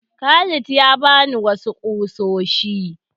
Khalid ya ba ni wasu ƙusoshi.